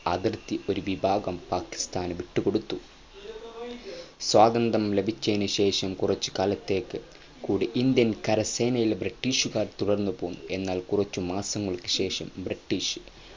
അതിർത്തി ഒരു വിഭാഗം പാകിസ്താനു വിട്ടുകൊടുത്ത സ്വാതന്ത്യ്രം ലഭിച്ചയിനു ശേഷം കുറച്ചു കാലത്തേക്ക് കൂടി Indian കരസേനയിൽ ബ്രിട്ടീഷുകാർ തുടർന്ന്പോന്നു എന്നാൽ കുറച്ചു മാസങ്ങൾക്കു ശേഷം ബ്രിട്ടീഷ് അതിർത്തി ഒരു വിഭാഗം പാകിസ്താന് വിട്ട് കൊടുത്തു